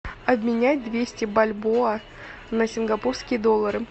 обменять двести бальбоа на сингапурские доллары